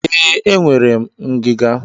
Ee, enwere m ngiga.